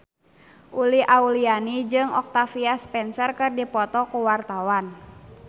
Uli Auliani jeung Octavia Spencer keur dipoto ku wartawan